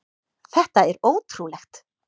Þetta er ótrúlegt!